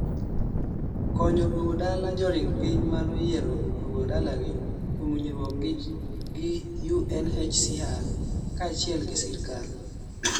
konyo duogo dala joring piny mano yiero duogo dalagi kuom winjruok gi UNHCR kachiel gi sirkal